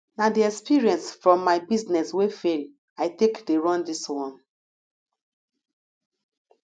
na di experience from my business wey fail i take dey run dis one